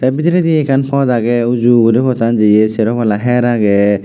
te biderede ekan pot aage uju uri potan jeye sero pala her aage.